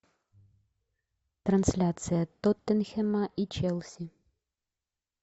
трансляция тоттенхэма и челси